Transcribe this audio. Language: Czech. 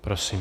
Prosím.